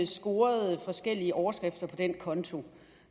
scorede forskellige overskrifter på den konto